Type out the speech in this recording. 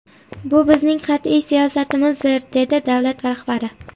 Bu bizning qat’iy siyosatimizdir, dedi davlat rahbari.